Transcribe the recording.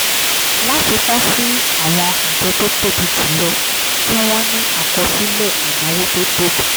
láfikún sí i àwọn àjọ tó tóbi jù lọ tí wọ́n ní àkọsílẹ̀ ìnáwó tó tóbi